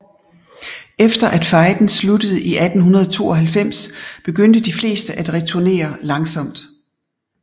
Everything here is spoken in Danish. Efter at fejden sluttede i 1892 begyndte de fleste at returnere langsomt